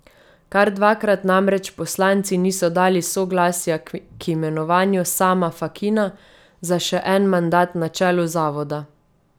Kar dvakrat namreč poslanci niso dali soglasja k imenovanju Sama Fakina za še en mandat na čelu zavoda.